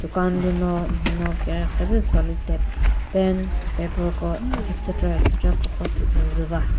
dukan lü no mhano kükre zü solitap pen paper ko etc etc ko khasü zü va.